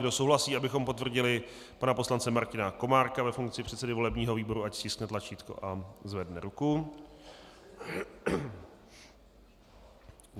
Kdo souhlasí, abychom potvrdili pana poslance Martina Komárka ve funkci předsedy volebního výboru, ať stiskne tlačítko a zvedne ruku.